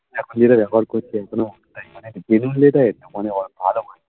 এখন যেটা ব্যবহার করছি এখনো